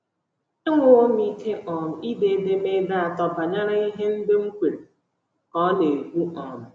“ Enwewo m ike um ide edemede atọ banyere ihe ndị m kweere, ” ka ọ na - ekwu um.